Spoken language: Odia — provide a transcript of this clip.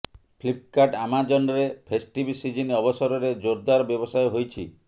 ଫ୍ଳିପ୍କାର୍ଟ ଆମାଜନ୍ରେ ଫେଷ୍ଟିଭ୍ ସିଜ୍ନ ଅବସରରେ ଜୋରଦାର ବ୍ୟବସାୟ ହୋଇଛି